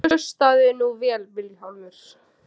Og hlustaðu nú vel Vilhjálmur.